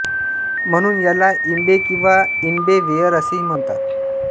म्हणून याला इम्बे किंवा इन्बे वेअर असेही म्हणतात